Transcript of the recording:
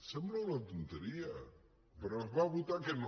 sembla una tonteria però es va votar que no